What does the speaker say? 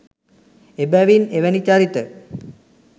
එබැවින් එවැනි චරිත